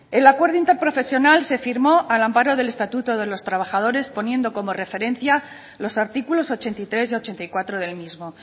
el acuerdo interprofesional se firmó al amparo del estatuto de los trabajadores poniendo como referencia los artículos ochenta y tres y ochenta y cuatro del mismo